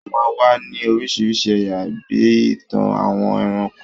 Wọ́n máa ń wà ní oríṣiríṣi ẹ̀yà, bí i ìtàn àwọn ẹranko.